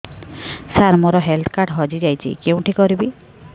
ସାର ମୋର health card ହଜି ଯାଇଛି କେଉଁଠି କରିବି